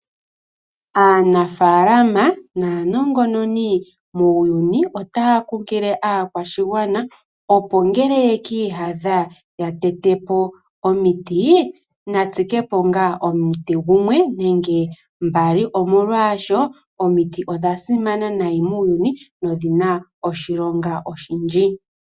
Aanafalama naanongononi muuyuni, otaya kunkilile aakwashigwana opo ngele yeki iyadha yatete po omiti natsike po ngaa omuti gumwe nenge mbali, molwaasho omiti odhansimana nayi muuyuni nodhi na oshilonga oshindji.